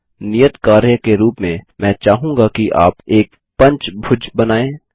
नियत कार्य के रूप में मैं चाहूँगा कि आप एक पंचभुज बनाएँ